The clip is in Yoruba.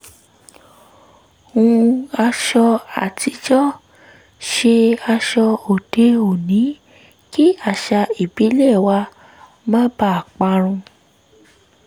hun aṣọ àtijọ́ ṣe aṣọ òde-òní kí àṣà ìbílẹ̀ wa má baà parun